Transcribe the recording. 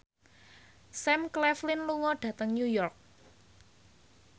Sam Claflin lunga dhateng New York